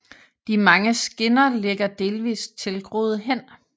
De mange skinner ligger delvist tilgroede hen